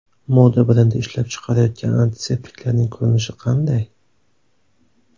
Moda brendi ishlab chiqarayotgan antiseptiklarning ko‘rinishi qanday?.